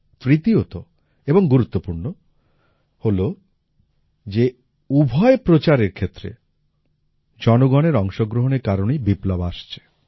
তৃতীয়ত এবং গুরুত্বপূর্ণ হল যে উভয় প্রচারের ক্ষেত্রে জনগণের অংশগ্রহণের কারণেই বিপ্লব আসছে